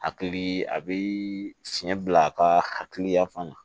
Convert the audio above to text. Hakili a bɛ fiɲɛ bila a ka hakiliya fana na